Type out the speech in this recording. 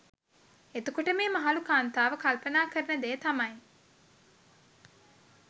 එතකොට මේ මහලු කාන්තාව කල්පනා කරන දෙය තමයි